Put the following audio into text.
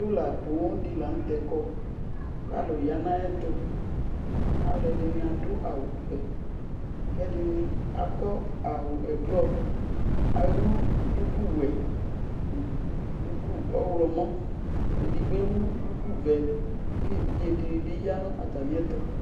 hola poo dɩ la nʋ tɛ kɔ, kʋ alʋ ya nʋ ayʋ ɛtʋ, alʋ ɛdɩnɩ adʋ awʋ vɛ kʋ ɛdɩnɩ akɔ awʋ ɛblɔ ayʋ duku wɛ duku ɔɣlɔmɔ edigbo ewu duku vɛ kʋ evidze dɩ bɩ ya nʋ atamɩ ɛtʋ